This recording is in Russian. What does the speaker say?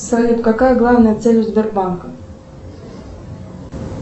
салют какая главная цель у сбербанка